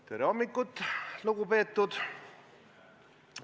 Tere hommikust, lugupeetud!